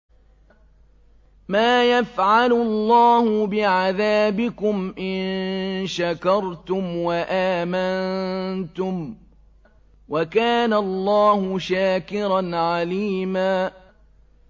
مَّا يَفْعَلُ اللَّهُ بِعَذَابِكُمْ إِن شَكَرْتُمْ وَآمَنتُمْ ۚ وَكَانَ اللَّهُ شَاكِرًا عَلِيمًا